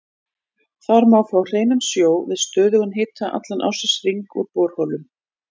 Þar má fá hreinan sjó við stöðugan hita allan ársins hring úr borholum.